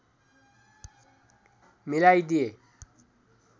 मिलाई दिए